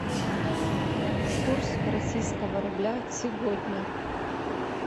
курс российского рубля сегодня